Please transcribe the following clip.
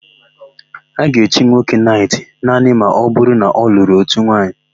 A ga-echi nwoke naịtị naanị ma ọbụrụ na ọ lụrụ ótù nwaanyị.